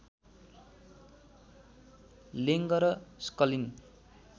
लेङ्ग र स्कलिन